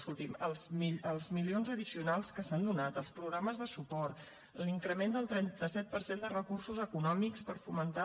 escolti’m els milions addicionals que s’han donat els programes de suport l’increment del trenta set per cent de recursos econòmics per fomentar